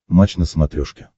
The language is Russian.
матч на смотрешке